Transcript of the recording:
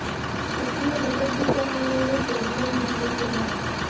सक्रिय घटक भी कर रहे हैं सोडियम डिक्लोफेनाक